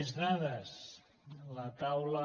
més dades la taula